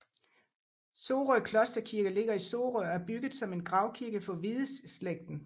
Sorø Klosterkirke ligger i Sorø og er bygget som en gravkirke for Hvideslægten